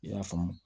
I y'a faamu